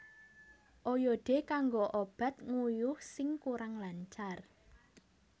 Oyode kanggo obat nguyuh sing kurang lancar